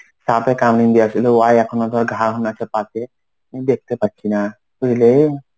সাপে কামড়ে দেওয়া ছিল ওহাই এখনো তোর ঘা ও আছে পাতে. দেখতে পাচ্ছি না. বুঝলি?